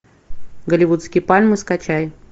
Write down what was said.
голливудские пальмы скачай